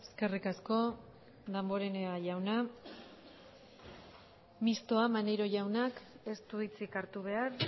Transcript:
eskerrik asko damborenea jauna mistoa maneiro jaunak ez du hitzik hartu behar